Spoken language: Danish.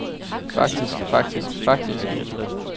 faktisk faktisk faktisk